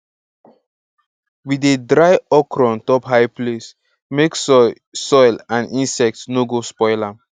we dey dry okra on top high place make soil soil and insects no go spoil am